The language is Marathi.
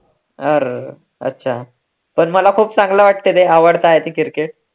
अर अच्छा, पण मला खूप चांगलं वाटतं रे आवडता cricket